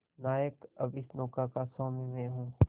नायक अब इस नौका का स्वामी मैं हूं